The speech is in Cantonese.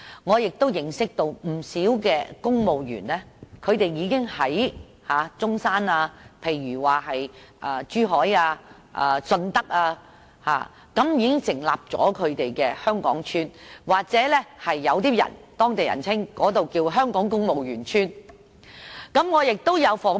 我認識了不少公務員，他們已經在中山、珠海和順德成立"香港邨"，有當地人更稱之為"香港公務員邨"。